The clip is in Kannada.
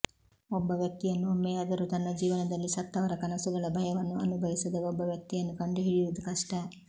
ಒಬ್ಬ ವ್ಯಕ್ತಿಯನ್ನು ಒಮ್ಮೆಯಾದರೂ ತನ್ನ ಜೀವನದಲ್ಲಿ ಸತ್ತವರ ಕನಸುಗಳ ಭಯವನ್ನು ಅನುಭವಿಸದ ಒಬ್ಬ ವ್ಯಕ್ತಿಯನ್ನು ಕಂಡುಹಿಡಿಯುವುದು ಕಷ್ಟ